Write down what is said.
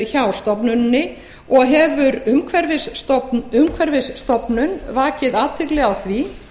hjá stofnuninni og hefur umhverfisstofnun vakið athygli á því